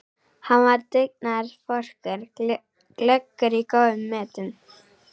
Hann var dugnaðarforkur, glöggur og í góðum metum.